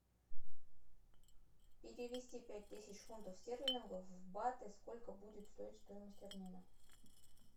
перевести пять тысяч фунтов стерлингов в баты сколько будет стоить стоимость обмена